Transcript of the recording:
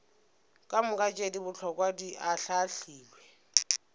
kamoka tše bohlokwa di ahlaahlilwe